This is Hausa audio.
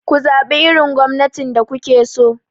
Ku zaɓi irin gwamnatin da kuke so!